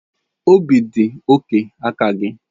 Obi dị oke aka gị.